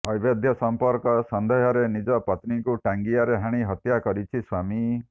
ଅବୈଧ ସମ୍ପର୍କ ସନ୍ଦେହରେ ନିଜ ପତ୍ନୀଙ୍କୁ ଟାଙ୍ଗିଆରେ ହାଣି ହତ୍ୟାକରିଛି ସ୍ବାମୀ